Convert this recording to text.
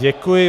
Děkuji.